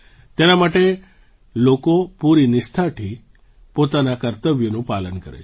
તેના માટે લોકો પૂરી નિષ્ઠાથી પોતાનાં કર્તવ્યોનું પાલન કરે છે